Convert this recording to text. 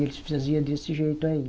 E eles faziam desse jeito aí.